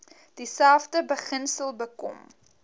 dieselfde beginsel bekom